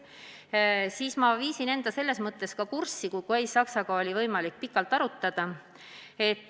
Ja siis ma viisin end sellega kurssi, sain seda Kai Saksaga pikalt arutada.